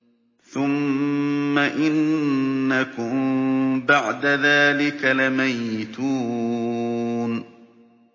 ثُمَّ إِنَّكُم بَعْدَ ذَٰلِكَ لَمَيِّتُونَ